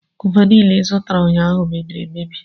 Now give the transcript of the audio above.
Gova niile ịzụtara ụnyaahụ mebiri emebi.